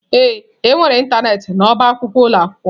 Ee, enwere ịntanetị n'ọba akwụkwọ ụlọ akwụkwọ.